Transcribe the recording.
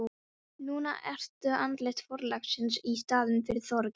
Núna ertu andlit forlagsins í staðinn fyrir Þorgeir.